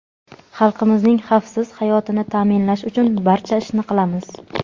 Xalqimizning xavfsiz hayotini ta’minlash uchun barcha ishni qilamiz.